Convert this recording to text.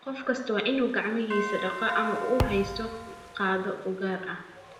qof kastaa waa inuu gacmihiisa dhaqaa ama uu haysto qaaddo u gaar ah